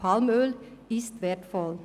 Palmöl ist wertvoll.